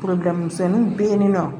misɛnninw bɛ yen nɔ